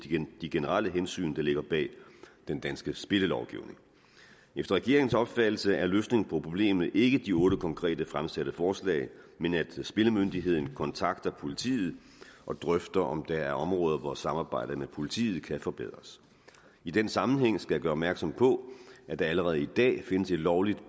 de generelle hensyn der ligger bag den danske spillelovgivning efter regeringens opfattelse er løsningen på problemet ikke de otte konkrete fremsatte forslag men at spillemyndigheden kontakter politiet og drøfter om der er områder hvor samarbejdet med politiet kan forbedres i den sammenhæng skal jeg gøre opmærksom på at der allerede i dag findes et lovligt